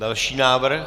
Další návrh.